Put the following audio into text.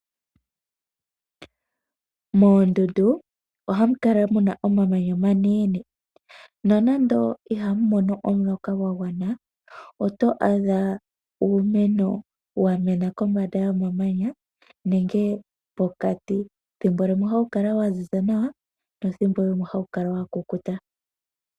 Moondundu ohamu kala mu na omamanya omanene. Nonando ihamu mono omuloka gwa gwana, oto adha uumeno wa mena kombanda yomamanya, nenge pokati. Thimbo limwe ohawu kala wa ziza nawa nethimbo limwe ohawu kala wa kukuta.